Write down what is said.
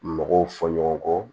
Mɔgɔw fɔ ɲɔgɔn kɔ